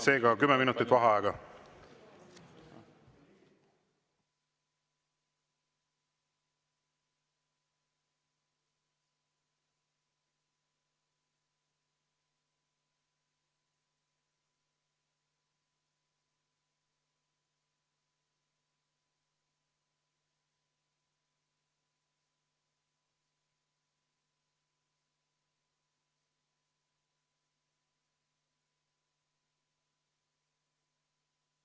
Seega kümme minutit vaheaega.